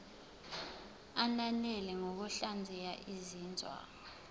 ananele ngokuhlaziya izinzwa